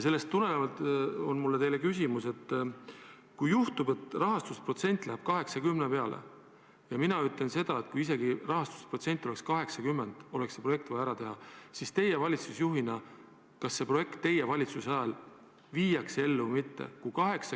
Sellest tulenevalt on mul teile küsimus: kui juhtub, et see rahastusprotsent langeb 80 peale – mina ütlen seda, et isegi kui see rahastusprotsent oleks 80, oleks see projekt vaja ära teha –, siis mida te valitsusjuhina arvate, kas see projekt teie valitsuse ajal viiakse ellu või mitte?